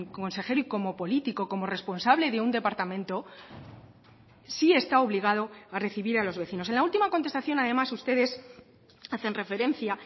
consejero y como político como responsable de un departamento sí está obligado a recibir a los vecinos en la última contestación además ustedes hacen referencia